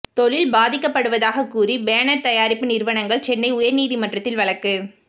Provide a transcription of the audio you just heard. தொழில் பாதிக்கப்படுவதாக கூறி பேனர் தயாரிப்பு நிறுவனங்கள் சென்னை உயர்நீதிமன்றத்தில் வழக்கு